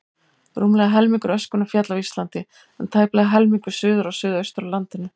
Rúmlega helmingur öskunnar féll á Íslandi, en tæplega helmingur suður og suðaustur af landinu.